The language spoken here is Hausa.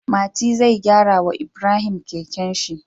Mati zai gyara wa Ibrahim kekenshi